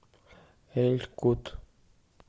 эль кут